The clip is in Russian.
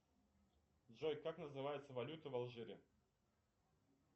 джой как называется валюта в алжире